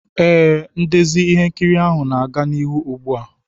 Ee, ndezi ihe nkiri ahụ na-aga n'ihu ugbu a.